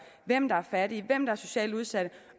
hvem der er fattige hvem der er socialt udsatte